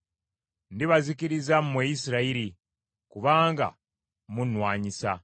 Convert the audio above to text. Ndibazikiriza mmwe Isirayiri, kubanga munnwanyisa.